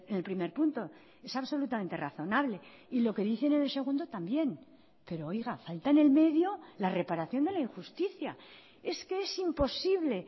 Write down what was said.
el primer punto es absolutamente razonable y lo que dicen en el segundo también pero oiga falta en el medio la reparación de la injusticia es que es imposible